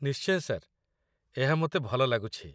ନିଶ୍ଚୟ, ସାର୍ ଏହା ମୋତେ ଭଲ ଲାଗୁଛି